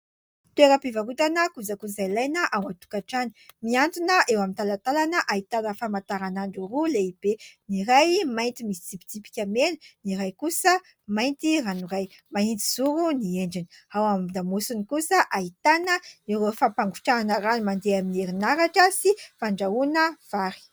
Toeraa-pivarotana kojakoja ilaina ao an-tokantrano. Mihantona eo amin'ny talantalana ahitana famantaran'andro roa lehibe : ny iray mainty misy tsipitsipika mena, ny iray kosa mainty ranoray, mahitsy zoro ny endriny. Ao an-damosiny kosa ahitana an'ireo fampangotrahana rano, mandeha amin'ny herinaratra, sy fandrahoana vary.